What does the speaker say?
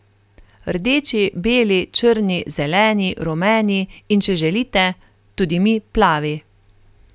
Rdeči, beli, črni, zeleni, rumeni, in če želite, tudi mi plavi.